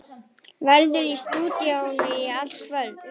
Verður í stúdíóinu í allt kvöld.